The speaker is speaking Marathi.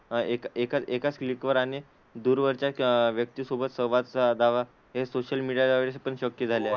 एक एकाच एकाच क्लिकवर आणि दूरवरच्या व्यक्ती सोबत संवाद साधावा हे सोशल मीडियामुळे पण शक्य झाले आहे.